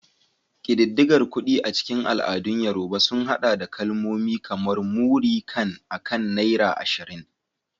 Ƙididdigar kuɗi a cikin al'adun Yorùbá sun haɗa da kalmomi kamar "Múrí kan" akan naira 20.